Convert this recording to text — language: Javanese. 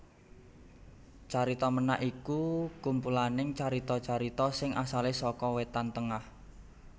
Carita Ménak iku kumpulaning carita carita sing asalé saka Wétan Tengah